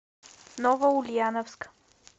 новоульяновск